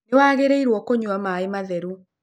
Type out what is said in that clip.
Nĩwagĩrĩirwo kũnyua maĩ matheru.